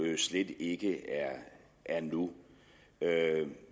slet ikke er nu